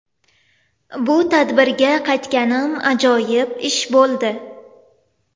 Bu tadbirga qaytganim ajoyib ish bo‘ldi”.